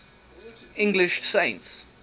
english saints